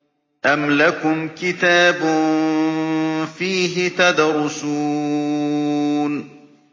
أَمْ لَكُمْ كِتَابٌ فِيهِ تَدْرُسُونَ